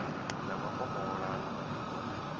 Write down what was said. na makomola na madiko a